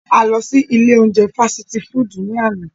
A lọ si ile ounjẹ fasiti fudu ni ana.